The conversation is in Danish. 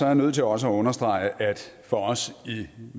jeg nødt til også at understrege at for os i